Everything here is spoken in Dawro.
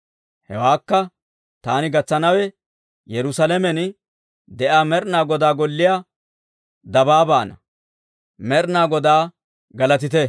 Hewaakka taani gatsanawe, Yerusaalamen de'iyaa Med'inaa Godaa golliyaa dabaabaanna. Med'inaa Godaa galatite!